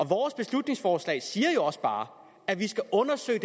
vores beslutningsforslag siger jo også bare at vi skal undersøge